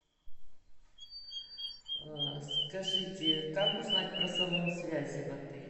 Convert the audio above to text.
скажите как узнать про салон связи в отеле